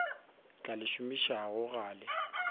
tla le šomišago ga le